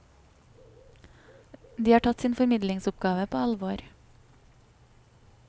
De har tatt sin formidlingsoppgave på alvor.